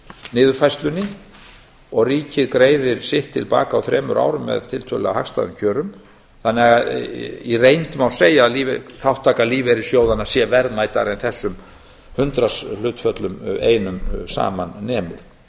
niðurfærslunni og ríkið greiðir sitt til baka á þremur árum með tiltölulega hagstæðum kjörum þannig að í reynd má segja að þátttaka lífeyrissjóðanna sé verðmætari en þessum hundraðshlutföllum einum saman nemur